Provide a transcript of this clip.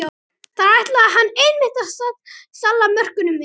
Þar ætlaði hann einmitt að salla mörkunum inn!